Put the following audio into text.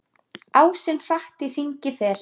Ásinn hratt í hringi fer.